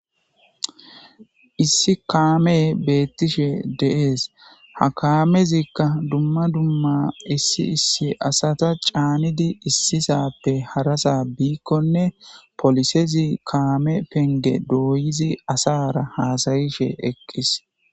Issi kaame beettishe deees .ha kaamezikka dumma dumma issi issi asata caanidi issisappe harasa biikkonne polisezi kaame penge dooyizi asara haasayishe eqqis.